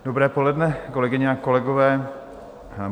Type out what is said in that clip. Dobré poledne, kolegyně a kolegové.